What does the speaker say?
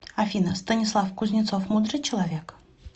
афина станислав кузнецов мудрый человек